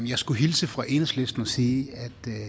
jeg skulle hilse fra enhedslisten og sige